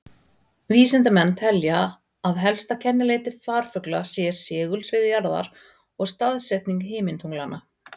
Vísindamenn telja að helstu kennileiti farfugla séu segulsvið jarðar og staðsetning himintunglanna.